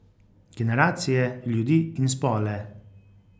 Generacije, ljudi in spole.